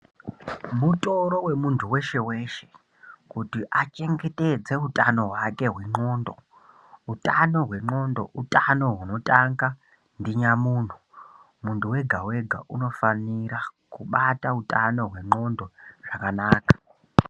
Mutoro wemuntu weshe weshe kuti achengetedze utano hwake hwendxondo. Utano hwendxondo utano hunotanga ndinyamuntu. Muntu wega wega unofanira kubata utano hwendxondo zvakanaka.